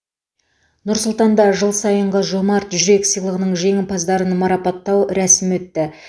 нұр сұлтанда жыл сайынғы жомарт жүрек сыйлығының жеңімпаздарын марапаттау рәсімі өтті